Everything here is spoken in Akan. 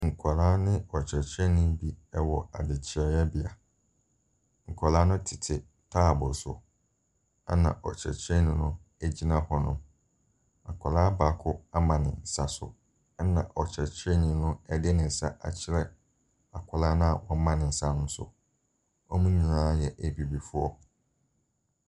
Nkwadaa ne ɔkyerɛkyerɛnii bi ɛwɔ adekyerɛyɛbea. Nkwadaa no tete taabo so ɛna ɔkyerɛkyerɛnii no egyina hɔ. Akwadaa baako ama ne nsa so ɛna ɔkyerɛkyerɛnii no ɛde ne nsa akyerɛ akwadaa na woama ne nsa so no. wɔn nyinaa yɛ abibifoɔ.